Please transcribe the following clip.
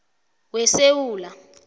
wesewula